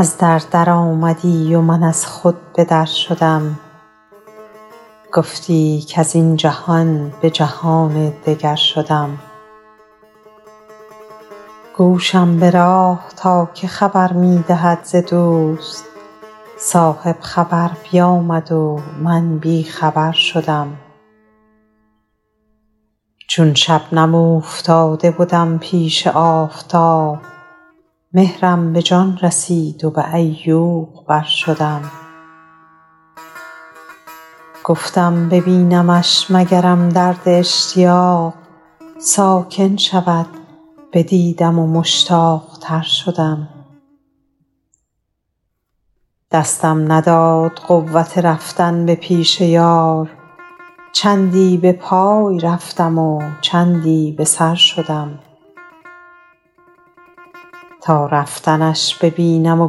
از در درآمدی و من از خود به در شدم گفتی کز این جهان به جهان دگر شدم گوشم به راه تا که خبر می دهد ز دوست صاحب خبر بیامد و من بی خبر شدم چون شبنم اوفتاده بدم پیش آفتاب مهرم به جان رسید و به عیوق بر شدم گفتم ببینمش مگرم درد اشتیاق ساکن شود بدیدم و مشتاق تر شدم دستم نداد قوت رفتن به پیش یار چندی به پای رفتم و چندی به سر شدم تا رفتنش ببینم و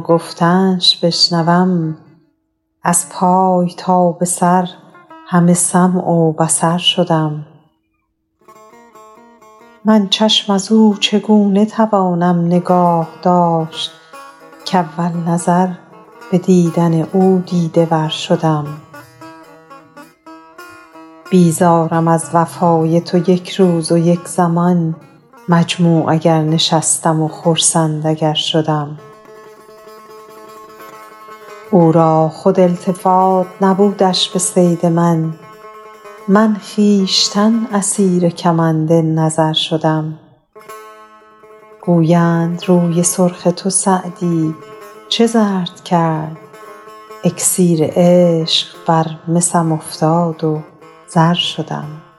گفتنش بشنوم از پای تا به سر همه سمع و بصر شدم من چشم از او چگونه توانم نگاه داشت کاول نظر به دیدن او دیده ور شدم بیزارم از وفای تو یک روز و یک زمان مجموع اگر نشستم و خرسند اگر شدم او را خود التفات نبودش به صید من من خویشتن اسیر کمند نظر شدم گویند روی سرخ تو سعدی چه زرد کرد اکسیر عشق بر مسم افتاد و زر شدم